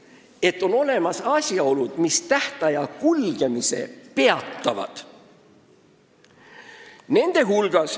Et on olemas ka asjaolud, mis tähtaja kulgemise peatavad.